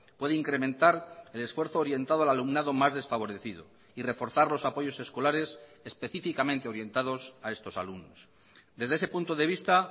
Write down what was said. puede incrementar el esfuerzo orientado al alumnado más desfavorecido y reforzar los apoyos escolares específicamente orientados a estos alumnos desde ese punto de vista